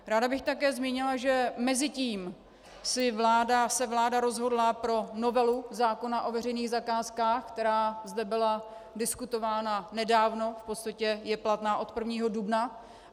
Ráda bych také zmínila, že mezitím se vláda rozhodla pro novelu zákona o veřejných zakázkách, která zde byla diskutována nedávno, v podstatě je platná od 1. dubna.